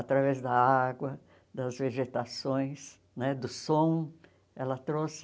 Através da água, das vegetações, né do som. Ela trouxe